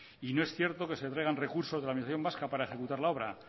y no es cierto que se traigan recursos de la administración vasca para ejecutar la obra